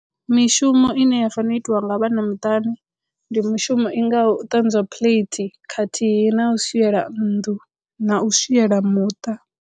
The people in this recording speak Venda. Mishumo ine ya fanela u itiwa nga vhana muṱani ndi mishumo i ngaho u ṱanzwa plate khathihi na u swiela nnḓu na u swiela muṱa.